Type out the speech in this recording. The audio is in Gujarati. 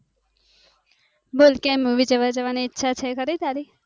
બોલ કેમ હવે movie જવાની ઈચ્છા છે તારી